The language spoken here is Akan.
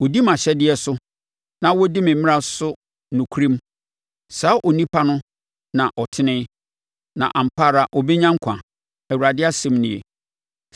Ɔdi mʼahyɛdeɛ so na ɔdi me mmara so nokorɛm. Saa onipa no na ɔtene; na ampa ara ɔbɛnya nkwa Awurade asɛm nie.